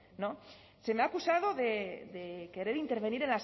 se me ha acusado de querer intervenir